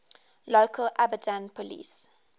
local abadan police